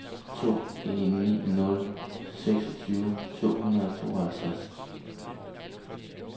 to en ni nul seksogtyve to hundrede og tooghalvtreds